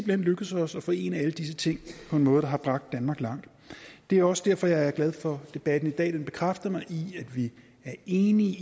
hen lykkedes os at forene alle disse ting på en måde der har bragt danmark langt det er jo også derfor jeg er glad for debatten i dag den bekræfter mig i at vi er enige